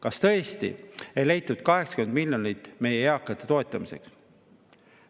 Kas tõesti ei leitud 80 miljonit meie eakate toetamiseks?